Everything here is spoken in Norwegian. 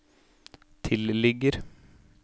tilligger